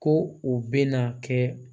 Ko u bɛ na kɛ